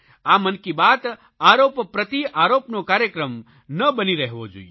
આ મન કી બાત આરોપ પ્રતિઆરોપનો કાર્યક્રમ ના બની રહેવો જોઇએ